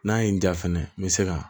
N'a ye n diya fɛnɛ n bɛ se ka